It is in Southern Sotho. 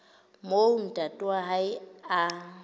moo ntate wa hae a